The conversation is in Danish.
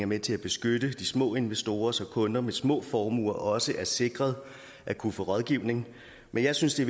med til at beskytte de små investorer så kunder med små formuer også er sikret at kunne få rådgivning men jeg synes det